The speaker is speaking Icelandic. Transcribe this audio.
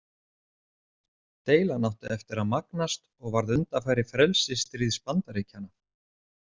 Deilan átti eftir að magnast og varð undanfari frelsisstríðs Bandaríkjanna.